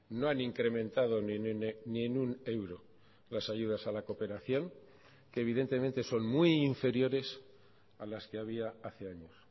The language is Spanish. no han incrementado ni en un euro las ayudas a la cooperación que evidentemente son muy inferiores a las que había hace años